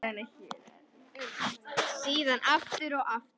Síðan aftur og aftur.